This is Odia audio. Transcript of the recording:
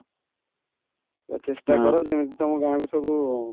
ତ ଚେଷ୍ଟା କର ଯେମିତି ତମ ଗାଁକୁ ସବୁ